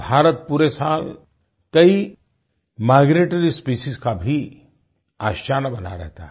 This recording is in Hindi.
भारत पूरे साल कई माइग्रेटरी स्पेसीज का भी आशियाना बना रहता है